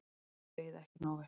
Þér leið ekki nógu vel.